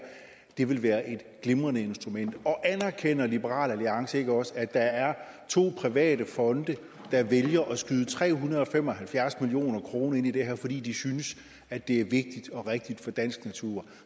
vil være et glimrende instrument anerkender liberal alliance ikke også at der er to private fonde der vælger at skyde tre hundrede og fem og halvfjerds million kroner ind i det her fordi de synes at det er vigtigt og rigtigt for dansk natur